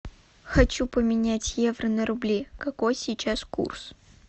хочу поменять евро на рубли какой сейчас курс